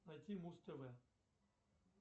найти муз тв